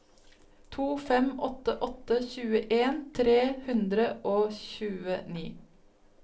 to fem åtte åtte tjueen tre hundre og tjueni